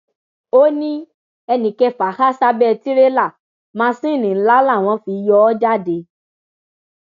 ó ní ẹni kẹfà há sábẹ tìrẹlà másinni ńlá làwọn fi yọ ọ jáde